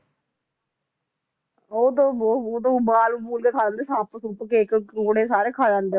ਉਦੋਂ ਬਹੁਤ ਉਦੋਂ ਉਬਾਲ ਅਬੂਲ ਕੇ ਖਾ ਜਾਂਦੇ ਸੱਪ ਸੁੱਪ ਕੇਕੜੇ ਕੂਕੜੇ ਕੂਕਦੇ ਸਾਰੇ ਖਾ ਜਾਂਦੇ